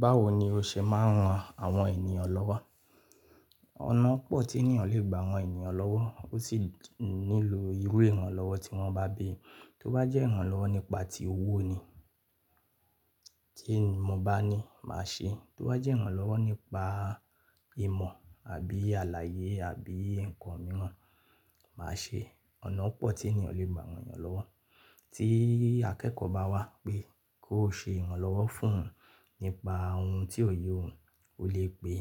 Báwo ni o ṣe máa ń ran àwọn ènìyàn lọ́wọ́? Ọ̀nà pọ̀ tí ènìyàn lè gbà ran ènìyàn lọ́wọ́, ó sì nílò irú ìrànlọ́wọ́ tí wọ́n bá bí i. Tó bá jẹ́ ìrànlọ́wọ́ nípa tí owó ni tí mo bá ní máa ṣe, tó bá jẹ́ ìrànlọ́wọ́ nípa ìmọ̀ àbí àlàyé àbí ǹkan mìíràn, màá ṣe. Ọ̀nà pọ̀ tí ènìyàn lè gbà ran ènìyàn lọ́wọ́. Tí akẹ́kọ̀ọ́ bá wá pé kó ṣe ìrànlọ́wọ́ fún nípa ohun tí ò yé òun, ó lè pe